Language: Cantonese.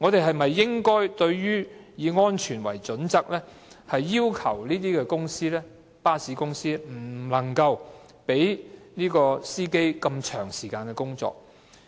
我們應否基於安全的考慮，要求巴士公司不能讓車長長時間工作？